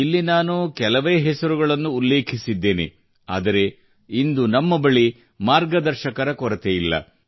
ಇಲ್ಲಿ ನಾನು ಕೆಲವೇ ಹೆಸರುಗಳನ್ನು ಉಲ್ಲೇಖಿಸಿದ್ದೇನೆ ಆದರೆ ಇಂದು ನಮ್ಮ ಬಳಿ ಮಾರ್ಗದರ್ಶಕರ ಕೊರತೆಯಿಲ್ಲ